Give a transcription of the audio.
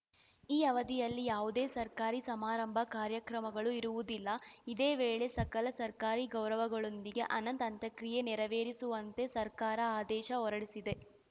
ಈ ಅವಧಿಯಲ್ಲಿ ಯಾವುದೇ ಸರ್ಕಾರಿ ಸಮಾರಂಭ ಕಾರ್ಯಕ್ರಮಗಳು ಇರುವುದಿಲ್ಲ ಇದೇ ವೇಳೆ ಸಕಲ ಸರ್ಕಾರಿ ಗೌರವಗಳೊಂದಿಗೆ ಅನಂತ್‌ ಅಂತ್ಯಕ್ರಿಯೆ ನೆರವೇರಿಸುವಂತೆ ಸರ್ಕಾರ ಆದೇಶ ಹೊರಡಿಸಿದೆ